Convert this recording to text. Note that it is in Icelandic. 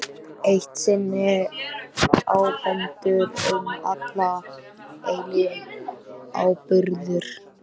Eitt sinn ábúendur, um alla eilífð áburður.